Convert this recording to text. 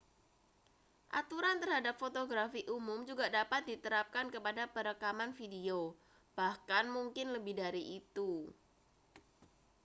aturan terhadap fotografi umum juga dapat diterapkan kepada perekaman video bahkan mungkin lebih dari itu